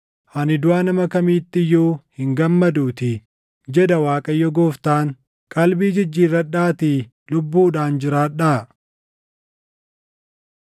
Ani duʼa nama kamiitti iyyuu hin gammaduutii, jedha Waaqayyo Gooftaan. Qalbii jijjiirradhaatii lubbuudhaan jiraadhaa!